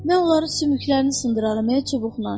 Mən onların sümüklərini sındıraram, çubuqla.